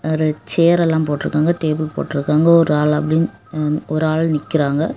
ஒரு சேர் எல்லாம் போட்டு இருக்காங்க டேபிள் போட்டு இருக்காங்க ஒரு ஆள் அப்படின்னு ஹ ஒரு ஆள் நிக்கிறாங்க.